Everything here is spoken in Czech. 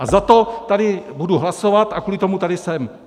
A za to tady budu hlasovat a kvůli tomu tady jsem!